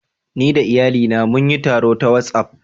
Ni da iyalina mun yi taro ta WhatsApp